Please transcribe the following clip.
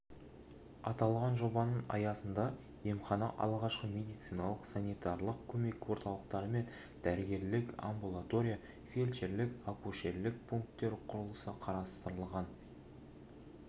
аталған жобаның аясында емхана алғашқы медициналық-санитерлық көмек орталықтары мен дәрігерлік амбулатория фельдшерлік-акушерлік пункттер құрылысы қарастырылған жылғы қыркүйектегі мәліметтерге